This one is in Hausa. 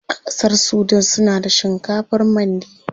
A ƙasar sudan suna da shinkafar mandi.